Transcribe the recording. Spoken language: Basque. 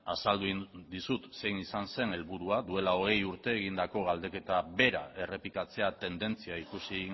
azaldu egin dizut zein izan zen helburua duela hogei urte egindako galdeketa bera errepikatzea tendentzia ikusi